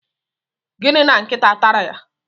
Gịnị! na nkịta tara ya?